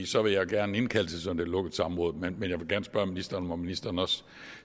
så vil jeg gerne indkalde til sådan et lukket samråd men jeg vil gerne spørge ministeren om ministeren også